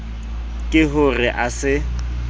ke ho re a se